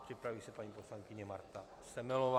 Připraví se paní poslankyně Marta Semelová.